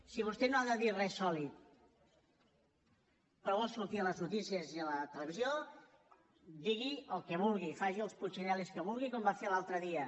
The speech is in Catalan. si vostè no ha de dir res sòlid però vol sortir a les notícies i a la televisió digui el que vulgui faci els putxinel·lis que vulgui com va fer l’altre dia